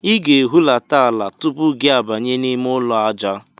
Ị ga-ehulata ala tupu gị abanye n'ime ụlọ aja.